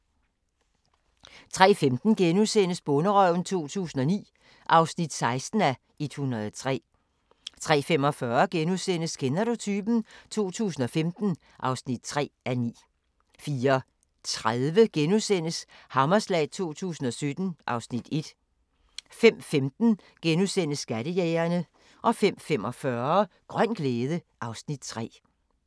03:15: Bonderøven 2009 (16:103)* 03:45: Kender du typen? 2015 (3:9)* 04:30: Hammerslag 2017 (Afs. 1)* 05:15: Skattejægerne * 05:45: Grøn glæde (Afs. 3)